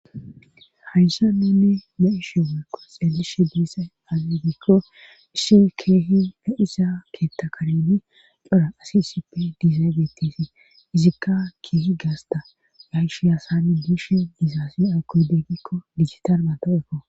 hayssa neni ma7ishe waekko xeelishe diisa azeggikko isshi keehi na7isa keetta kareni dhora asi sipe diizay geettisi izikka keehi gaasta ma7ishe asani biishe diizaasi akoydeggikko digitar mato ekko